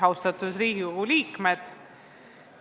Austatud Riigikogu liikmed!